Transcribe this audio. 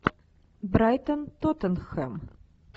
брайтон тоттенхэм